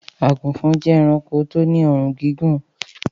Àgùnfọn jẹ́ ẹranko tó ní ọrùn gígùn